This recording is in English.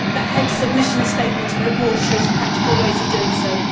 The Heads of Mission statement and report show practical ways of doing so.